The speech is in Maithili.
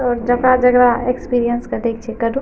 और जगह-जगह एक्सपीरियंस देख छके रू --